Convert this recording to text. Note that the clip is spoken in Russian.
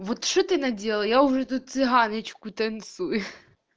вот что ты наделал я уже тут цыганочку танцую